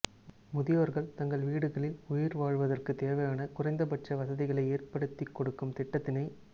முதியோர்கள் தங்கள் வீடுகளில் உயிர்வாழ்வதற்கு தேவையான குறைந்தபட்ச வசதிகளை ஏற்படுத்திக்கொடுக்கும் திட்டத்தினை